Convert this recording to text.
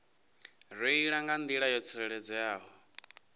reila nga nḓila yo tsireledzeaho